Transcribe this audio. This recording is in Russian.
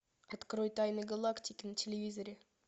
открой тайны галактики на телевизоре